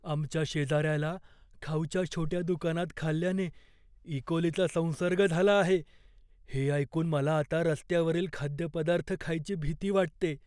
आमच्या शेजाऱ्याला खाऊच्या छोट्या दुकानात खाल्ल्याने इकोलीचा संसर्ग झाला आहे हे ऐकून मला आता रस्त्यावरील खाद्यपदार्थ खायची भीती वाटते.